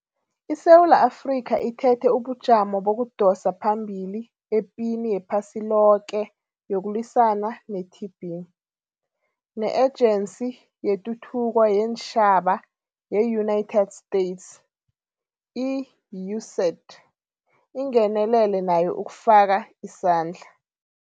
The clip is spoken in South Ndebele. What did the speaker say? ISewula Afrika ithethe ubujamo bokudosa phambili epini yephasiloke yokulwisana ne-TB, ne-Ejensi yeTuthuko yeenTjhaba ye-United States, i-USAID, ingenelele nayo ukufaka isandla.